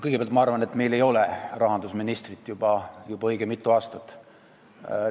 Kõigepealt, ma arvan, et meil ei ole juba õige mitu aastat rahandusministrit.